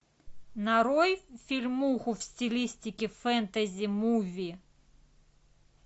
нарой фильмуху в стилистике фэнтези муви